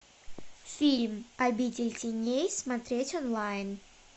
фильм обитель теней смотреть онлайн